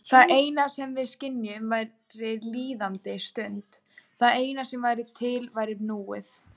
Það eina sem við skynjuðum væri líðandi stund, það eina sem væri til væri núið.